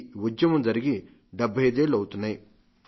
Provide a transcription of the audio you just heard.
ఈ ఉద్యమం జరిగి 75 ఏళ్లు అవుతున్నాయి